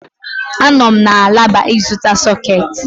Ánọ m na alaba ịzụta sọ̀két